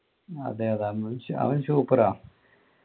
അതേതാ അവൻ super ആ